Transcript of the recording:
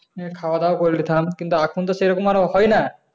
খাওয়া-দাওয়া করে নিতাম কিন্তু এখন তো সেরকম আর হয় না